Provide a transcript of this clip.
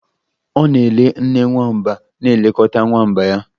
Ọ na-ele nne nwamba na-elekọta nwamba ya